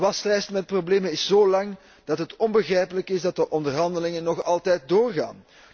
De waslijst met problemen is zo lang, dat het onbegrijpelijk is dat de onderhandelingen nog altijd doorgaan.